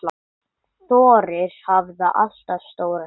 Þórir hafði alltaf stóra sýn.